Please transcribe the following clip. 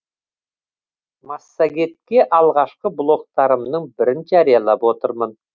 массагетке алғашқы блогтарымның бірін жариялап отырмын